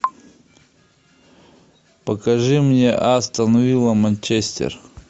покажи мне астон вилла манчестер